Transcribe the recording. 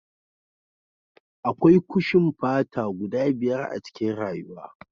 Akwai kushin fata guda biyar a cikin rayuwa